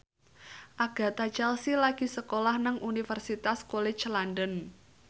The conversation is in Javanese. Agatha Chelsea lagi sekolah nang Universitas College London